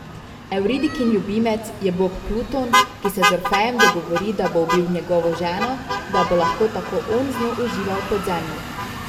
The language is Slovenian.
Evridikin ljubimec je bog Pluton, ki se z Orfejem dogovori, da bo ubil njegovo ženo, da bo lahko tako on z njo užival v podzemlju.